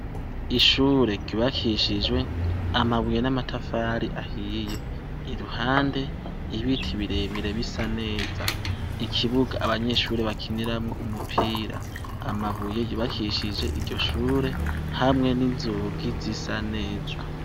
Ishure ryubakishijwe amabuye n’amatafari ahiye, iruhande ibiti birebire bisa neza. Ikibuga abanyeshure bakiniramwo umupira, amabuye yubakishije iryoshure hamwe n’inzugi zisa neza.